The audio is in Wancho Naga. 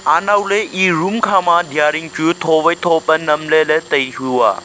nawley e room khama deya din chu tho wai tho nem ley ley tai hu a.